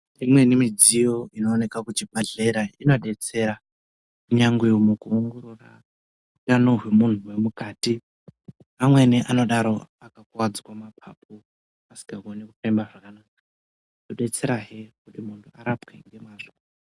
Imweni midziyo inooneka kuchibhadhlera inodetsera kunyangwe mukuongorora utano hwemunhu hwemukati. Amweni anodaro akakuvadzwa mapapu, asikakoni kufema zvakanaka. Inodetserahe kuti muntu arapwe ngemazvo.